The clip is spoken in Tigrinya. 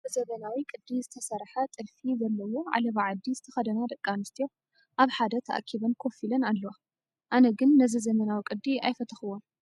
ብዘመናዊ ቅዲ ዝተሰርሐ ጥልፊ ዘለዎ ዓለባ ዓዲ ዝተኸደና ደቂ ኣንስትዮ ኣብ ሓደ ተኣኪበን ኮፍ ኢለና ኣለዋ፡፡ ኣነ ግን ነዚ ዘመናዊ ቅዱ ኣይፈተውኩዎን፡፡